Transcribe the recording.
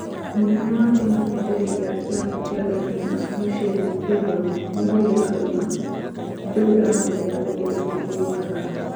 Mũnene wa kĩama kĩa mbere gia kĩrabu kĩa Dortmund, Lucien Favor nĩongereire akauga "ndũĩ arahũthĩra kũgũrũ kũrĩkũ gũthaka?"